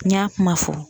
N y'a kuma fɔ